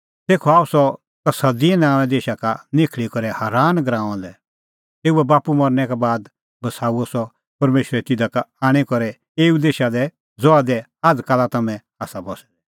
तेखअ आअ सह कसदिए नांओंए देशा का निखल़ी करै हारान गराऊंआं लै तेऊए बाप्पू मरनै का बाद बसाऊअ सह परमेशरे तिधा का आणी करै एऊ देशा दी ज़हा दी आझ़काला तम्हैं आसा बस्सै दै